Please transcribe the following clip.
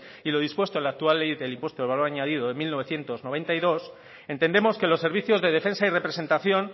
y lo dispuesto en la actual ley del impuesto del valor añadido de mil novecientos noventa y dos entendemos que los servicios de defensa y representación